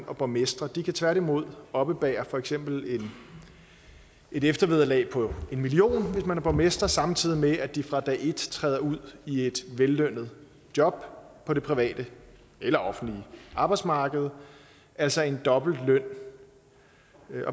og borgmestre de kan tværtimod oppebære for eksempel et eftervederlag på en million kr hvis man er borgmester samtidig med at de fra dag et træder ud i et vellønnet job på det private eller offentlige arbejdsmarked altså en dobbelt løn